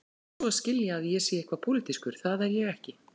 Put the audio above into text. Ekki svo að skilja að ég sé eitthvað pólitískur, það er ég ekki.